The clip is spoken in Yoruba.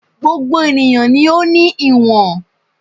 Gbogbo ènìyàn ni ó ní ìwọ̀n